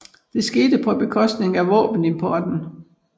Det skete på bekostning af våbenimporten